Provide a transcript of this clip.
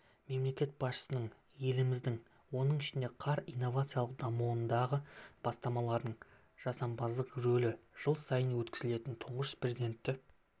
мемлекет басшысының еліміздің оның ішінде қар инновациялық дамуындағы бастамаларының жасампаздық рөлі жыл сайын өткізілетін тұңғыш президенті